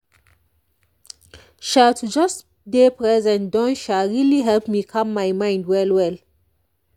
sha to just dey present don really help me calm my mind well well.